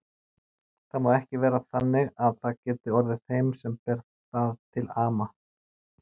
Það má ekki vera þannig að það geti orðið þeim sem ber það til ama.